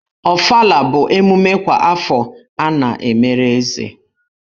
Ofala bụ emume kwa afọ a na-emere Eze.